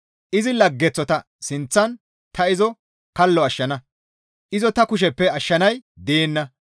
Izi laggeththota sinththan ta izo kallo ashshana; izo ta kusheppe ashshanay deenna.